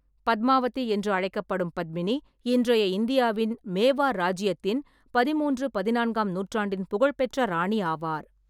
பத்மாவதி என்றும் அழைக்கப்படும் பத்மினி, இன்றைய இந்தியாவின் மேவார் ராஜ்ஜியத்தின் பதிமூன்று-பதினான்காம் நூற்றாண்டின் புகழ்பெற்ற ராணி ஆவார்.